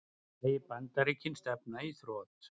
Segir Bandaríkin stefna í þrot